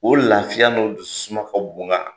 O lafiya n'o dususuma ka bon n kan,